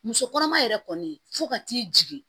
Muso kɔnɔma yɛrɛ kɔni fo ka t'i jigin